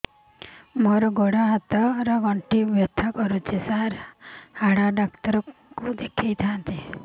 ମୋର ଗୋଡ ହାତ ର ଗଣ୍ଠି ବଥା କରୁଛି ସାର ହାଡ଼ ଡାକ୍ତର ଙ୍କୁ ଦେଖାଇ ଥାନ୍ତି